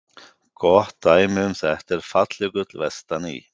Gott dæmi um þetta er Falljökull vestan í